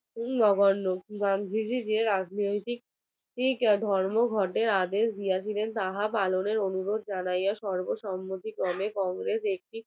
ধর্মঘটের আগে গিয়াছিলেন তাহা পালনের অনুরোধ জানাইয়া সর্বসম্মতিকরণে congress একটি